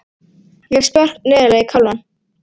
Ég fékk spark neðarlega í kálfann.